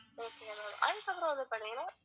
ah okay ma'am